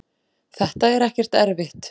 þetta er ekkert erfitt.